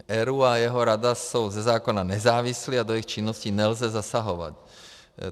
ERÚ a jeho rada jsou ze zákona nezávislé a do jejich činnosti nelze zasahovat.